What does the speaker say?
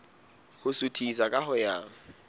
ho suthisa ka ho ya